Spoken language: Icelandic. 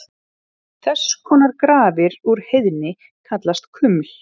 Þess konar grafir úr heiðni kallast kuml.